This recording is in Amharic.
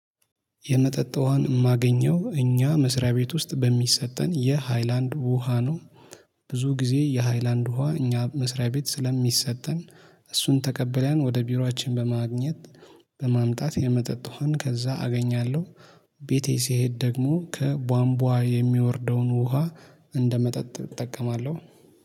የመጠጥ ውሃን የማገኘው እኛ መስሪያ ቤት ውስጥ በሚሰጠን የሃይላንድ ውሃ ነው። ብዙ ጊዜ የሃይላንድ ውሃ እኛ መስሪያ ቤት ስለሚሰጠን እሱን ተቀበለን ወደ ቢሮአችን በማግኘት በማምጣት የመጠጥ ውሃን ከዛ አገኛለሁ። ቤቴ ሲሄድ ደግሞ ከቧንቧ የሚወርደውን ውሃ እንደመጠጥ እጠቀማለሁ